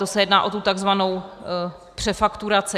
To se jedná o tu takzvanou přefakturaci.